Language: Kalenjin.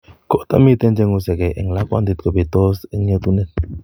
Koto miten cheng'usekee eng' lakwandit kobetos eng' yeetunet